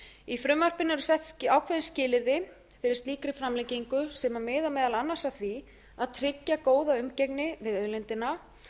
í frumvarpinu eru gerð ákveðin skilyrði fyrir slíkri framlengingu sem miða meðal annars að því að tryggja góða umgengni við auðlindina